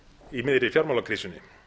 í miðri fjármálakrísunni